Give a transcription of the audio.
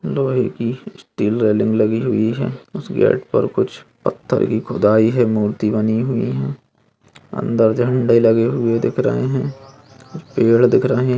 लोहे की steel railing लगी हुई है उस गेट पर कुछ पत्थर की खुदाई है मूर्ति बनी हुई है अंदर झंडे लगे हुए दिख रहे है कुछ पेड़ दिख रहे --